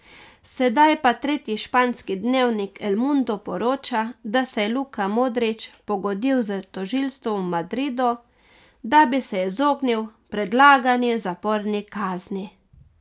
Sedaj pa tretji španski dnevnik El Mundo poroča, da se je Luka Modrić pogodil s tožilstvom v Madridu, da bi se izognil predlagani zaporni kazni.